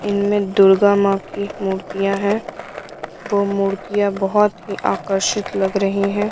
इनमें दुर्गा माँ की मूर्तियाँ हैंवो मूर्तियां बहुत ही आकर्षित लग रही हैं।